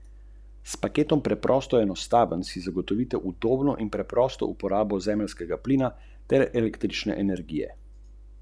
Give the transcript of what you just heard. To je za nas slabo, ker so naši glavni stroški, razen goriva, izraženi v dolarjih.